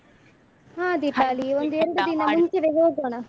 ಹಾ ದೀಪಾಲಿ ಒಂದು ಎರಡು ದಿನ ಮುಂಚೆವೆ ಹೋಗೋಣ.